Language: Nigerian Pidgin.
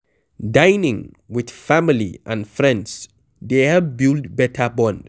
Dining with family and friends dey help build better bond